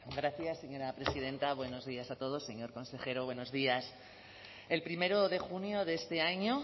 gracias señora presidenta buenos días a todos señor consejero buenos días el primero de junio de este año